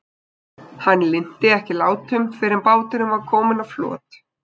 Hann linnti ekki látum fyrr en báturinn var kominn á flot.